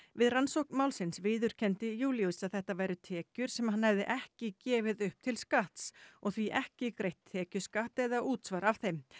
við rannsókn málsins viðurkenndi Júlíus að þetta væru tekjur sem hann hefði ekki gefið upp til skatts og því ekki greitt tekjuskatt eða útsvar af þeim